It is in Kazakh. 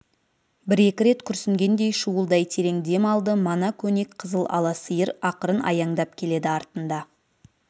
бір-екі рет күрсінгендей шуылдай терең дем алды мана көнек қызыл ала сиыр ақырын аяңдап келеді артында